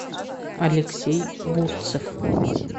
алексей бурцев